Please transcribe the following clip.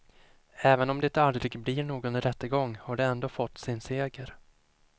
Även om det aldrig blir någon rättegång har de ändå fått sin seger.